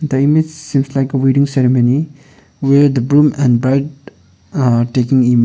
the image seems like a wedding ceremony where the groom and the bride ah taking image.